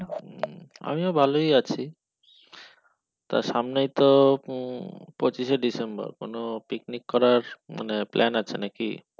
হম আমিও ভালোই আছি আর সামনে তো উম পঁচিশে ডিসেম্বর picnic করার মানে plan আছে নাকি